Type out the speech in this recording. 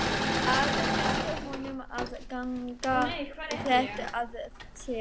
Ari benti honum að ganga þétt að sér.